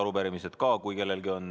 Arupärimised ka, kui kellelgi on.